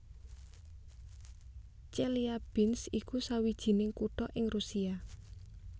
Chelyabinsk iku sawijining kutha ing Rusia